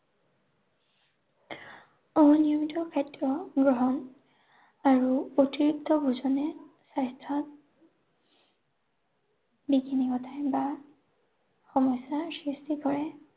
অনিয়ন্ত্ৰিত খাদ্য গ্ৰহণ আৰু অতিৰিক্ত ভোজনে স্বাস্থ্য বিঘিনি ঘটায় বা সমস্যাৰ সৃষ্টি কৰে।